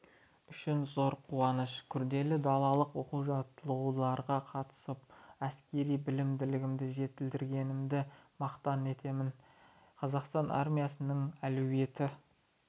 үшін зор қуаныш күрделі далалық оқу-жаттығуларға қатысып әскери біліктілігімді жетілдіргенімді мақтан етемін қазақстан армиясының әлеуеті